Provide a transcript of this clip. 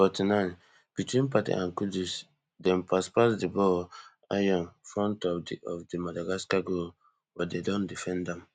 forty-ninebetween partey and kudus dem pass pass di ball ion front of di of di madagascar goal but dey don defend am